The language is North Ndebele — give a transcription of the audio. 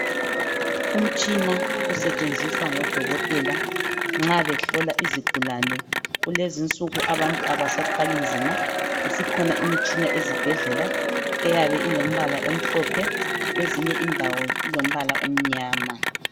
Umtshina osetshenziswa ngodokotela nxa behlola izigulane. Kulezi insuku abantu abasathwali nzima. Isikhona imitshina ezibhedlela. Eyabe ilombala omhlophe. Kwezinye indawo, ilombala omnyama.